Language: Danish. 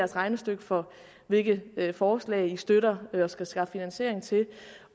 regnestykke for hvilke forslag man støtter og skal skaffe finansiering til